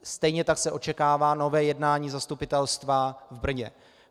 Stejně tak se očekává nové jednání zastupitelstva v Brně.